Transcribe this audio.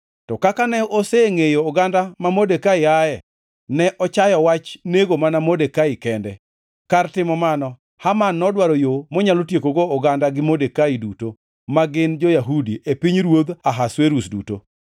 To kaka ne osengʼeyo oganda ma Modekai ae, ne ochayo wach nego mana Modekai kende. Kar timo mano, Haman nodwaro yo monyalo tiekogo oganda gi Modekai duto, ma gin jo-Yahudi, e pinyruodh Ahasuerus duto.